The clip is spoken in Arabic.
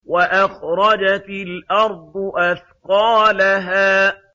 وَأَخْرَجَتِ الْأَرْضُ أَثْقَالَهَا